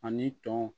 Ani tɔn